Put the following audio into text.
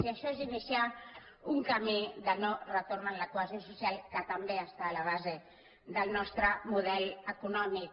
i això és iniciar un camí de no retorn en la cohesió social que també està a la base del nostre model econòmic